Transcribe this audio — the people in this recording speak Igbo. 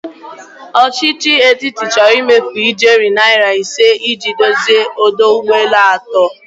Ọchichi etiti chọrọ ịmefu ijeri naira ise i ji dozie ọdọ ụgbọelu atọ.